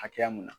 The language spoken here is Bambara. Hakɛya mun na